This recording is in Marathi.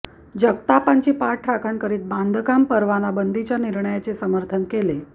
जगतापांची पाठराखण करीत बांधकाम परवाना बंदीच्या निर्णयाचे समर्थन केले